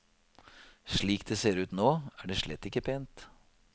Slik det ser ut nå, er det slett ikke pent.